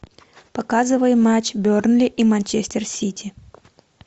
показывай матч бернли и манчестер сити